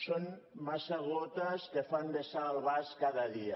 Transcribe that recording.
són massa gotes que fan vessar el vas cada dia